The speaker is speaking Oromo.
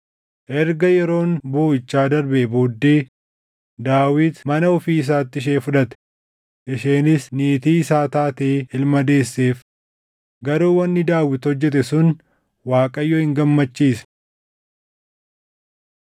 Erga yeroon booʼichaa darbee booddee Daawit mana ofii isaatti ishee fudhate; isheenis niitii isaa taatee ilma deesseef. Garuu wanni Daawit hojjete sun Waaqayyo hin gammachiisne.